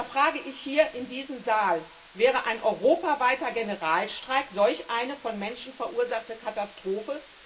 Da frage ich hier in diesem Saal Wäre ein europaweiter Generalstreik solch eine von Menschen verursachte Katastrophe?